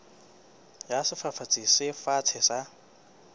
ya sefafatsi se fatshe sa